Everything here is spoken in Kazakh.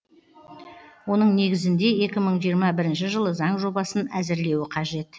оның негізінде екі мың жиырма бірінші жылы заң жобасын әзірлеуі қажет